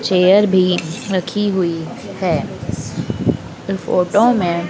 chair भी रखी हुई है फोटो में--